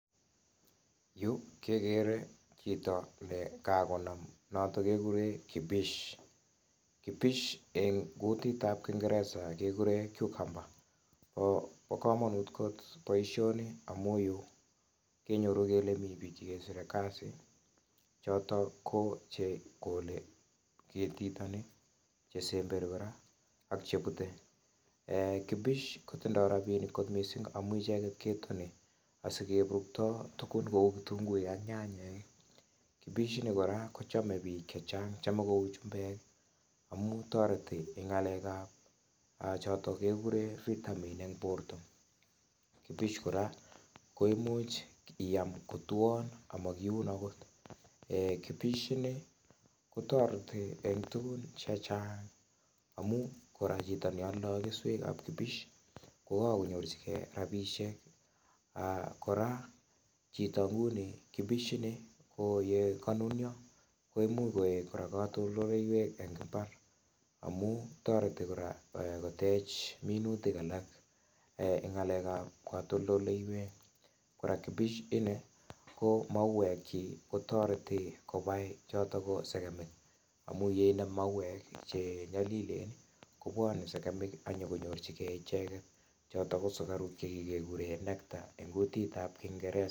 En yu kekere chito nekakonam kibish, (Cucumber ko bo kamanut kot boisioni amu yu komi biik chekesire kasi chotok ko chekole ketiton ni ,chesemberi kora ak chebute, tindo rapinik missing' amun icheket ketoni asikeburukto icheket kou kitunguik ak nyanyek ,chome biik chechang' kou chumbek amun toreti en ng'alekab vitamin en borto, kibish kora koimuch iyam kotwon amokiun akot, toreti kora en tuguk chechang' amun chito neoldoi keswek ab kibish kokakonyorchigei rapisiek kora kokanunyo koimuch koik katoltoleiywek en mbaar amun toreti kotech minutik alak en ng'alek ab katoltoleiywek ako kibish ini ko mauek kyik kobae segemik ako yeinde mauek chenyolilen kobwone segemik akonyokonyorchigei icheket chotok ko sukaruk chekikuren nectar en kutit ab kingeresa.